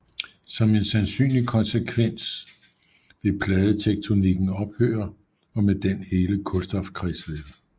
Som en sandsynlig konsekvens vil pladetektonikken ophøre og med den hele kulstofkredsløbet